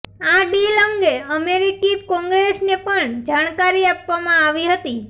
આ ડીલ અંગે અમેરિકી કોંગ્રેસને પણ જાણકારી આપવામાં આવી હતી